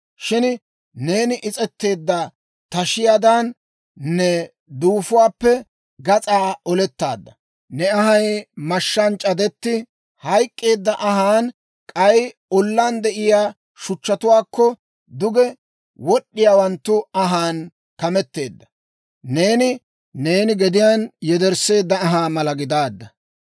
Shin neeni is's'etteedda tashiyaadan, ne duufuwaappe gas'aa olettaadda; ne anhay mashshaan c'adetti hayk'k'eedda anhaan, k'ay ollaan de'iyaa shuchchatuwaakko duge wod'd'iyaawanttu anhaan kameteedda. Neeni gediyaan yedersseedda anhaa mala gidaadda.